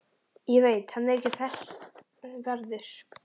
Ég veit hann er ekki þess verður.